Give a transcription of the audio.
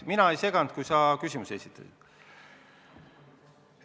Mina ei seganud vahele, kui sa küsimusi esitasid.